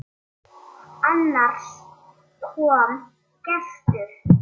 Þau fylgja henni eftir.